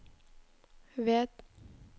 ved